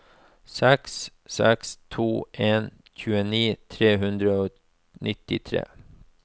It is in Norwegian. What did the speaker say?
seks seks to en tjueni tre hundre og nittitre